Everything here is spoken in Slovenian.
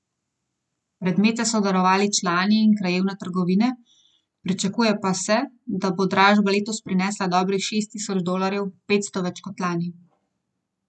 Predmete so darovali člani in krajevne trgovine, pričakuje pa se, da bo dražba letos prinesla dobrih šest tisoč dolarjev, petsto več kot lani.